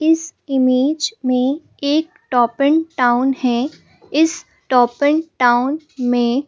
इस इमेज में एक टॉप एन टाउन है इस टॉप एन टाउन में--